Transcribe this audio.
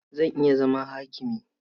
Zan iya zama hakimi.